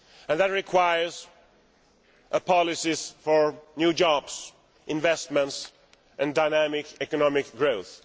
That requires policies for new jobs, investments and dynamic economic growth.